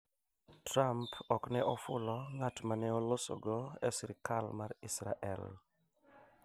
Trump ok ne ofulo ng'at ma ne oloso go e sirikal mar Israel